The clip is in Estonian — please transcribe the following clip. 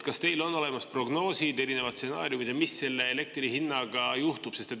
Kas teil on olemas prognoosid, erinevad stsenaariumid, mis selle elektri hinnaga juhtub?